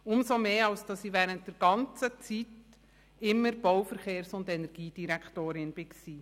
Umso mehr, als ich während der ganzen sechzehn Jahre immer Bau-, Verkehrs und Energiedirektorin war.